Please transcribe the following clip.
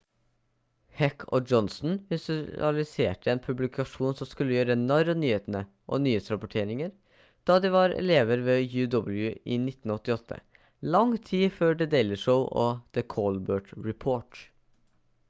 heck og johnson visualiserte en publikasjon som skulle gjøre narr av nyhetene og nyhetsrapporteringer da de var elever ved uw i 1988 lang tid før the daily show og the colbert report